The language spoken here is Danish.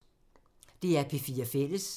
DR P4 Fælles